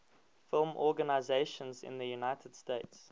film organizations in the united states